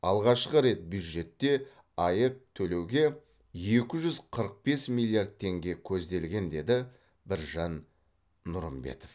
алғашқы рет бюджетте аәк төлеуге екі жүз қырық бес миллиард теңге көзделген деді біржан нұрымбетов